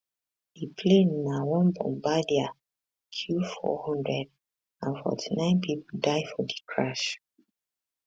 di plane na one bombardier q400 and 49 pipo die for di crash